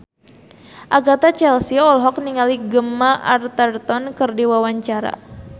Agatha Chelsea olohok ningali Gemma Arterton keur diwawancara